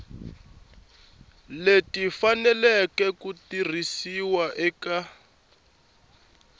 leti faneleke ku tirhisiwa eka